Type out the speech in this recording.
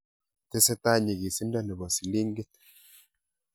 Tesetab nyikisindo nebo silingit